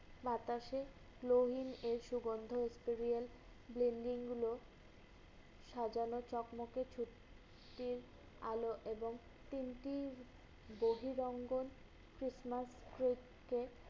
বাতাসে globin এর সগন্ধ হচ্ছে real । Blending গুলো সাজানো, চকমকে ছুটির আলো এবং তিনটির বহিরঙ্গন Christmas ক্রোধ কে